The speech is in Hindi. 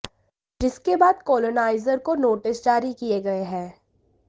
जिसके बाद कॉलोनाइजरों को नोटिस जारी किए गए हैं